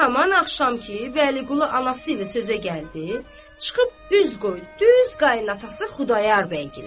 Haman axşam ki, Vəliqulu anası ilə sözə gəldi, çıxıb üz qoydu düz qayınatası Xudayar bəyə.